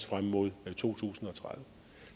frem mod to tusind og tredive